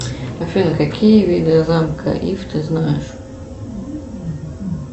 афина какие виды замка иф ты знаешь